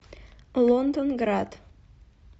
лондонград